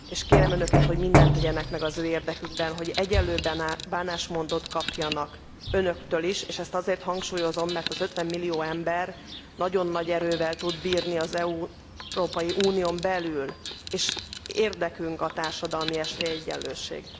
Kérem Önöket, hogy mindent tegyenek meg az ő érdekükben, hogy egyenlőbb bánásmódot kapjanak Önöktől is, és ezt azért hangsúlyozom, mert 50 millió ember nagyon nagy erővel tud bírni az Európai Unión belül, és érdekünk a társadalmi esélyegyenlőség.